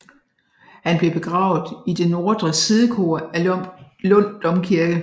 Han blev begravet i det nordre sidekor af Lund Domkirke